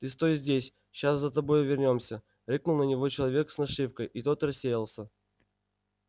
ты стой здесь ща за тобой вернёмся рыкнул на него человек с нашивкой и тот рассеялся